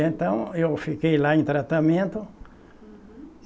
E então eu fiquei lá em tratamento. Uhum